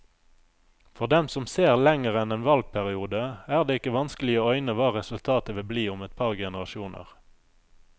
For dem som ser lenger enn en valgperiode, er det ikke vanskelig å øyne hva resultatet vil bli om et par generasjoner.